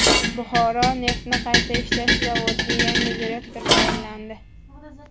Buxoro neftni qayta ishlash zavodiga yangi direktor tayinlandi.